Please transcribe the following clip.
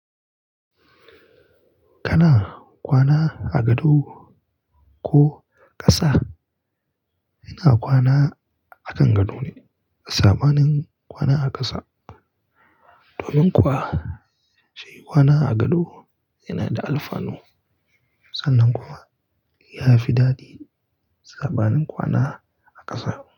Kana kwana a gado ko ƙasa? Ina kwana akan gado ne, sabanin kwana a ƙasa. Domin kuwa, shi kwana a gado yana da alfanu. Sannan kuma ya fi daɗi sabanin kwana a ƙasa.